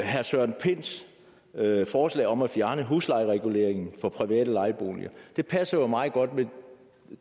herre søren pinds forslag om at fjerne huslejereguleringen for private lejeboliger det passer jo meget godt med